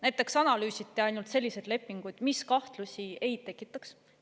Näiteks analüüsiti ainult selliseid lepinguid, mis kahtlusi ei tekitaks.